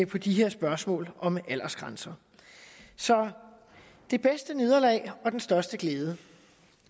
på de her spørgsmål om aldersgrænser så det bedste nederlag og den største glæde